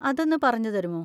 അതൊന്ന് പറഞ്ഞു തരുമോ?